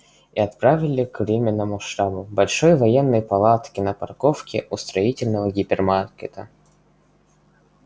и отправили к временному штабу большой военной палатке на парковке у строительного гипермаркета